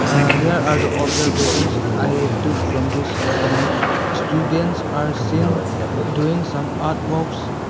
Ah here are the observations I took from this image students are seen doing some artworks.